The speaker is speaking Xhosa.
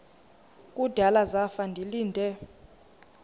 kudala zafa ndilinde